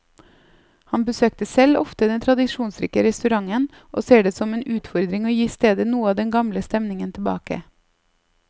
Han besøkte selv ofte den tradisjonsrike restauranten, og ser det som en utfordring å gi stedet noe av den gamle stemningen tilbake.